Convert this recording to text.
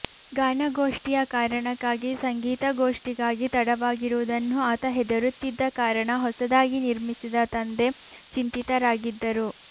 ಗಾನಗೋಷ್ಠಿಯ ಕಾರಣಕ್ಕಾಗಿ ಸಂಗೀತಗೋಷ್ಠಿಗಾಗಿ ತಡವಾಗಿರುವುದನ್ನು ಆತ ಹೆದರುತ್ತಿದ್ದ ಕಾರಣ ಹೊಸದಾಗಿ ನಿರ್ಮಿಸಿದ ತಂದೆ ಚಿಂತಿತರಾಗಿದ್ದರು